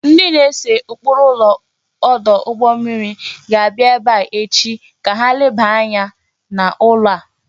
Ndị na-ese ụkpụrụ ụlọ ọdụ ụgbọ mmiri ga-abịa ebe a echi ka ha lebanye anya n'ụlọ a